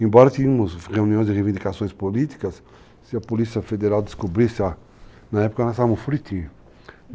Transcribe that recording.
Embora tivéssemos reuniões de reivindicações políticas, se a Polícia Federal descobrisse lá, na época nós tínhamos um furitinho.